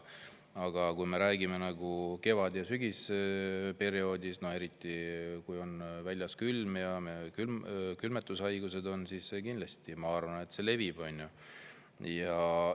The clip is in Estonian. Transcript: Aga kui me räägime kevad‑ ja sügisperioodist, eriti kui väljas on külm ja külmetushaigus, siis see kindlasti levib, ma arvan.